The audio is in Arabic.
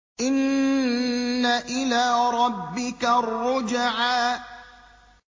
إِنَّ إِلَىٰ رَبِّكَ الرُّجْعَىٰ